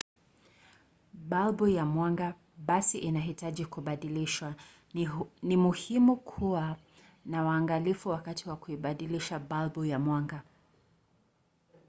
balbu ya mwanga basi inahitaji kubadilishwa. ni muhimu kuwa na uangalifu wakati wa kuibadilisha balbu ya mwanga